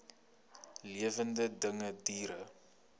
lewende dinge diere